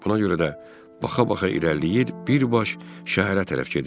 Buna görə də baxa-baxa irəliləyir birbaş şəhərə tərəf gedirdim.